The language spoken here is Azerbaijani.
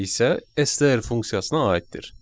STR funksiyasına aiddir.